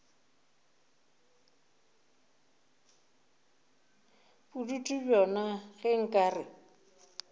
bodutu bjona ge nka re